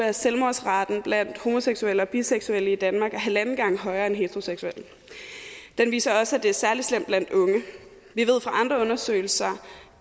at selvmordsraten blandt homoseksuelle og biseksuelle i danmark er halvanden gang højere end heteroseksuelles den viser også at det er særlig slemt blandt unge vi ved fra andre undersøgelser